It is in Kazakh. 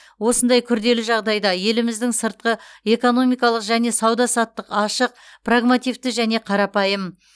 осындай күрделі жағдайда еліміздің сыртқы экономикалық және сауда саттық ашық прагмативті және қарапайым